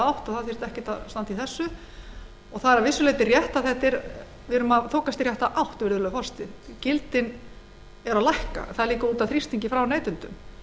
átt það þyrfti nú ekkert að standa í þessu það er að vissu leyti rétt að við erum að þokast í rétta átt gildin eru að lækka það er vegna þrýstings frá neytendum